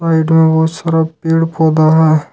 Side में बहुत सारा पेड़ पौधा है।